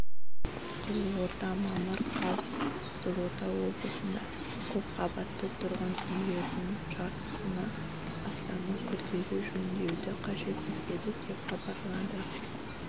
қызылорда мамыр қаз қызылорда облысында көпқабатты тұрғын үйлердің жартысынан астамы күрделі жөндеуді қажет етеді деп хабарлады